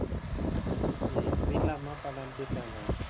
ஹம் வீட்ல அம்மா, அப்பா எல்லாம் எப்படி இருக்காங்க